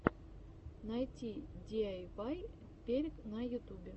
найти диайвай перек на ютубе